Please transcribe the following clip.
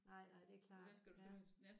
Nej nej det er klart ja